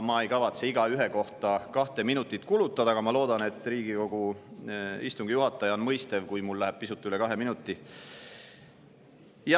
Ma ei kavatse igaühele kahte minutit kulutada, aga ma loodan, et Riigikogu istungi juhataja on mõistev, kui mul läheb pisut üle kahe minuti.